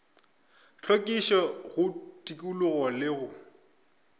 hlwekišo go tikologo le go